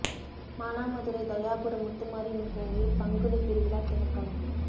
மானாமதுரை தயாபுரம் முத்துமாரியம்மன் கோயிலில் பங்குனி திருவிழா துவக்கம்